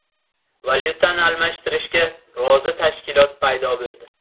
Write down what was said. Valyutani almashtirishga rozi tashkilot paydo bo‘ldi.